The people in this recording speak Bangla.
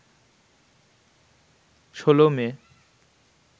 ১৬ মে